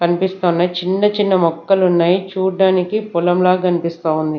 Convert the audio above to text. కనిపిస్తున్నాయి చిన్న చిన్న మొక్కలు ఉన్నాయి చూడడానికి పొలం లాగా కనిపిస్తా ఉంది.